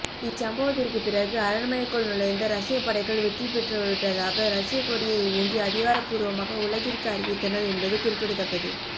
இச்சம்பவத்திற்கு பிறகு அரண்மனைக்குள் நுழைந்த ரஷ்யப்படைகள் வெற்றி பெற்றுவிட்டதாக ரஷ்யக்கொடியை ஊன்றி அதிகாரப்பூர்வமாக உலகிற்கு அறிவித்தனர் என்பது குறிப்பிடத்தக்கது